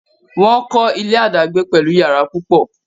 wón kò ilé adagbe pẹlú iyàrá púpọ.